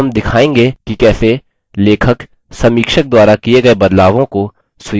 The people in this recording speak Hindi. अब हम दिखायेंगे कि कैसे लेखक समीक्षक द्वारा किये गये बदलावों को स्वीकार या अस्वीकार कर सकता है